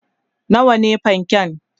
nawa ne fanke?